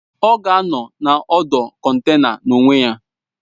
Ọ ga-anọ na ọdụ kọntena n'onwe ya